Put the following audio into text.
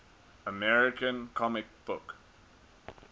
american comic book